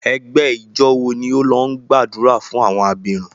Ẹgbẹ ijọ wo ni o lọ gbadura fun awọn abirun?